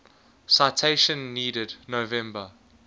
citation needed november